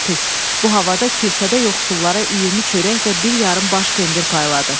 Bu havada kilsədə yoxsullara 20 çörək və bir yarım baş pendir payladıq.